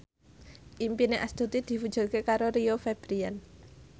impine Astuti diwujudke karo Rio Febrian